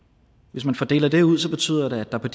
hvis man fordeler det ud betyder det at der på